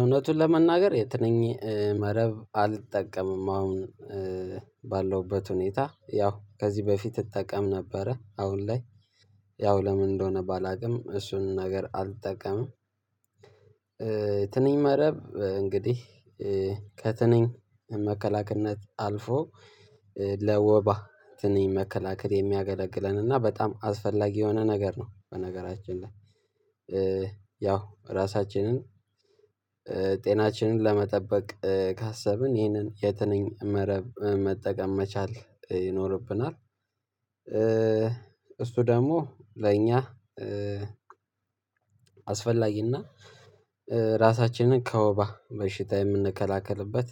እውነቱን ለመናገር የትንኝ መረብ አልጠቀምም። አሁን ባለውበት ሁኔታ ያው ከዚህ በፊት እጠቀም ነበረ። አሁን ላይ ያው ለምን እንደሆነ ባላውቅም እሱን ነገር አልጠቀምም። ትንኝ መረብ እንግዲህ ከትንኝ መከላከልነት አልፎ ለወባ ትንኝ መከላከል የሚያገለግለን እና በጣም አስፈላጊ የሆነ ነገር ነው። በነገራችን ላይ ያው ራሳችንን ጤናችንን ለመጠበቅ ካሰብን ይህንን የትንኝ መረብ መጠቀም መቻል ይኖርብናል። እሱ ደግሞ ለእኛ አስፈላጊና ራሳችንን ከወባ በሽታ የምንከላከልበት